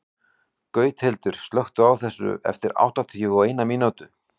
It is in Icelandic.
Gauthildur, slökktu á þessu eftir áttatíu og eina mínútur.